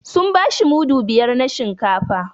Sun bashi mudu biyar na shinkafa